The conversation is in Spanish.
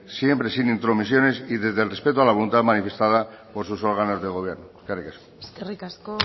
siempre sin intromisiones y desde el respeto a la voluntad manifestada por sus órganos de gobierno eskerrik asko eskerrik asko